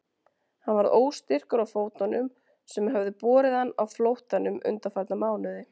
Hann varð óstyrkur á fótunum sem höfðu borið hann á flóttanum undanfarna mánuði.